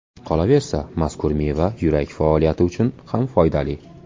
Qolaversa, mazkur meva yurak faoliyati uchun ham foydali.